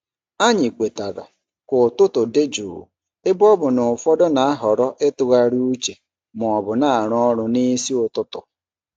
Anyị kwetara ka ụtụtụ dị jụụ ebe ọ bụ na ụfọdụ na-ahọrọ ịtụgharị uche ma ọ bụ na-arụ ọrụ n'isi ụtụtụ.